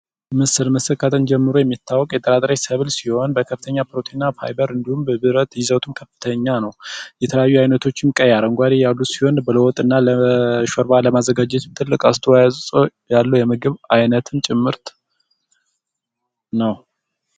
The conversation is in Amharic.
ምስር ከጥንት ጀምሮ የሚታወቅ የጥራጥሬ ሰብሎች ሲሆን፤ በከፍተኛ ፕሮቲን እና ፋይበር እንዲሁም፤ በብረት ይዘቱን ከፍተኛ ነው። የተለያዩ አይነቶችም ቀይ፤ አረንጓዴ ያሉ ሲሆን፤ ለወጥና ሾርባ ለማዘጋጀትም ትልቅ አስተዋጽዖ ያለው የምግብ አይነት ጭምርት ነው።